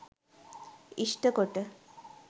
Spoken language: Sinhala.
ඉෂ්ට කොට